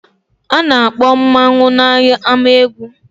A na-akpọ mmanwu n'ámá obodo.